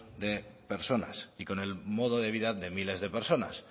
de personas y con el modo de vida de miles de personas